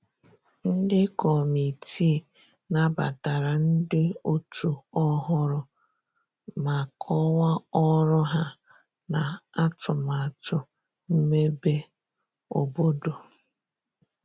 Ndi kọmitịị nabatara ndi otu ohụrụ ma kowaa ọrụ ha na atumatu mmebe obodo